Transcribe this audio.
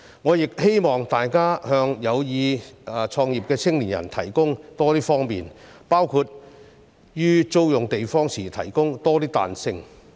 我亦希望大家向有意創業的青年人提供多些方便，包括於租用地方時提供多些彈性。